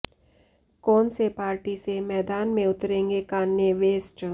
कौन से पार्टी से मैदान में उतरेंगे कान्ये वेस्ट